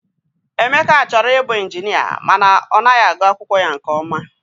Emeka chọrọ ịbụ ịnjinịa mana ọ naghị agụ akwụkwọ ya nke ọma.